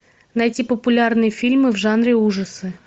найти популярные фильмы в жанре ужасы